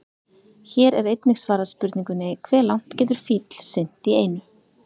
Hér er einnig svarað spurningunni: Hve langt getur fíll synt í einu?